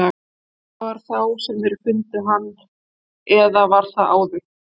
Það var þá sem þeir fundu hann, eða var það áður.